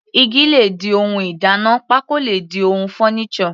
Igi le di ohun ìdáná, pákó le di ohun furniture.